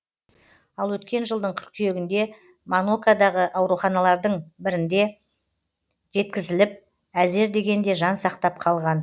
ал өткен жылдың қыркүйегінде монакодағы ауруханалардың біріне жеткізіліп әзер дегенде жан сақтап қалған